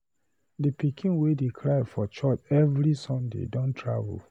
The pikin wey dey cry for church every Sunday don travel